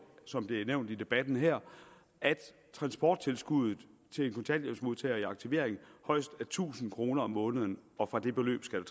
som det er nævnt i debatten her at transporttilskuddet til en kontanthjælpsmodtager i aktivering højst er tusind kroner om måneden og fra det beløb skal